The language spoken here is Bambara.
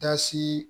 Dasi